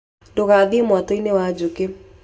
Ndũgathiĩ mwatũ-inĩ wa njũkĩ.